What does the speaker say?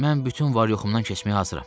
Mən bütün var-yoxumdan keçməyə hazıram.